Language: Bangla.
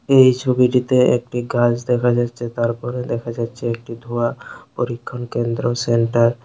এই ছবিটিতে একটি গাছ দেখা যাচ্ছে তারপরে দেখা যাচ্ছে একটি ধোঁয়ার পরীক্ষণ কেন্দ্র সেন্টার ।